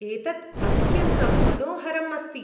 एतत् अत्यन्तं मनोहरम् अस्ति।